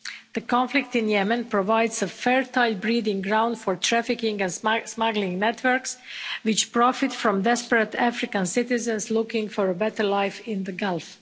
The conflict in Yemen provides a fertile breeding ground for trafficking and smuggling networks, which profit from desperate African citizens looking for a better life in the Gulf.